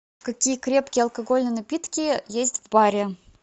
какие крепкие алкогольные напитки есть в баре